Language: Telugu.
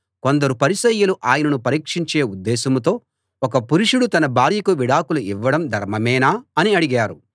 కొందరు పరిసయ్యులు ఆయనను పరీక్షించే ఉద్దేశంతో ఒక పురుషుడు తన భార్యకు విడాకులు ఇవ్వడం ధర్మమేనా అని అడిగారు